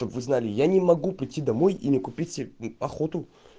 чтоб вы знали я не могу прийти домой и не купить себе охоту